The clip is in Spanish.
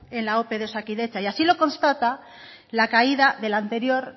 en la ope de osakidetza y así lo constata la caída de la anterior